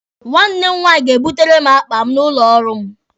Nwanne m nwaanyị ga-ebutere m akpa m n'ụlọ ọrụ m.